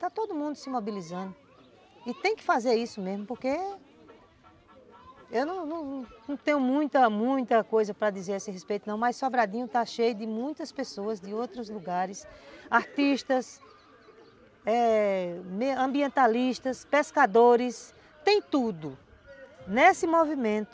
Está todo mundo se mobilizando e tem que fazer isso mesmo, porque eu não tenho muita, muita coisa para dizer a esse respeito não, mas Sobradinho está cheio de muitas pessoas de outros lugares, artistas, eh, ambientalistas, pescadores, tem tudo nesse movimento.